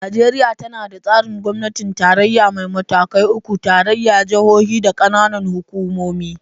Najeriya tana da tsarin gwamnatin tarayya mai matakai uku: tarayya, jihohi, da kananan hukumomi.